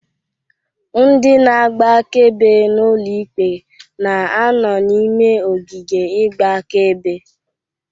Ndị na-agba akaebe n'ụlọ ikpe na-ano n'ime ogige igba akaebe.